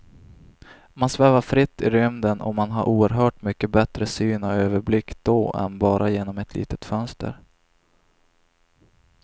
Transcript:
Man svävar fritt i rymden och man har oerhört mycket bättre syn och överblick då än bara genom ett litet fönster.